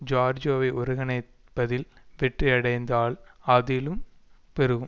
ஜோர்ஜியாவை ஒருங்கிணைப்பதில் வெற்றி அடைந்தால் ஆதிலும் பெருகும்